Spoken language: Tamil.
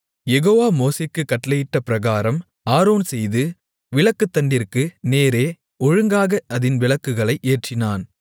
யெகோவா மோசேக்குக் கட்டளையிட்ட பிரகாரம் ஆரோன் செய்து விளக்குத்தண்டிற்கு நேரே ஒழுங்காக அதின் விளக்குகளை ஏற்றினான்